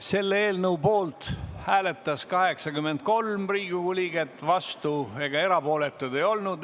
Selle eelnõu poolt hääletas 83 Riigikogu liiget, vastuolijaid ega erapooletuid ei olnud.